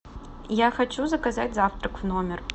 я хочу заказать завтрак в номер